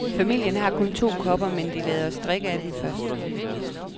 Familien har kun to kopper, men de lader os drikke af dem først.